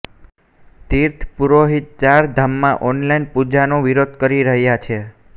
તીર્થ પુરોહિત ચાર ધામમાં ઓનલાઇન પૂજાનો વિરોધ કરી રહ્યા છે